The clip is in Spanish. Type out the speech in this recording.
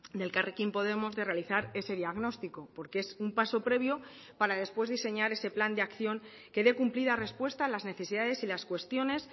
de elkarrekin podemos de realizar ese diagnóstico porque es un paso previo para después diseñar ese plan de acción que dé cumplida respuesta a las necesidades y las cuestiones